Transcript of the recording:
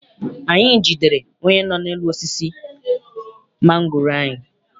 Anyị jidere onye nọ n'elu osisi mangoro anyị.